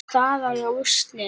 Staða og úrslit